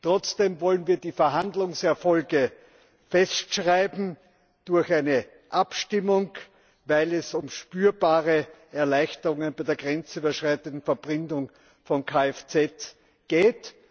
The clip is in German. Trotzdem wollen wir die Verhandlungserfolge festschreiben durch eine Abstimmung, weil es um spürbare Erleichterungen bei der grenzüberschreitenden Verbringung von Kfz geht.